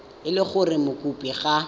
e le gore mokopi ga